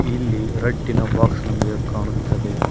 ಇಲ್ಲಿ ರಟ್ಟಿನ ಬಾಕ್ಸ್ ನಮಗೆ ಕಾಣುತ್ತದೆ.